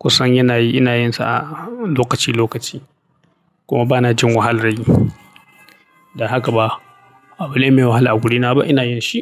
Kusan yana yi, ina yin sa a lokaci lokaci kuma ba na jin wahalar yi. Da haka ba abu ne mai wahala a wurina ba, ina yin shi.